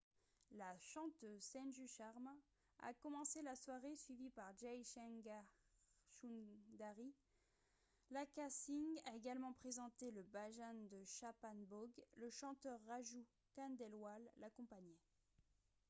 la chanteuse sanju sharma a commencé la soirée suivie par jai shankar choudhary lakkha singh a également présenté le bhajan de chhappan bhog le chanteur raju khandelwal l'accompagnait